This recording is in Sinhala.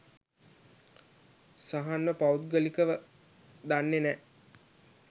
සහන්ව පෞද්ගලිකව දන්නෙ නෑ.